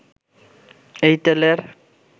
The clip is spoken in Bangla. এই তেলের